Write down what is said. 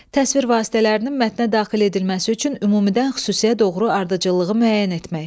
Təsvir vasitələrinin mətnə daxil edilməsi üçün ümumidən xüsusiyə doğru ardıcıllığı müəyyən etmək.